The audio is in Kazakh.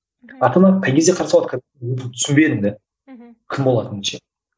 ата ана қай кезде қарсы болады түсінбедім де мхм кім болатынымды ше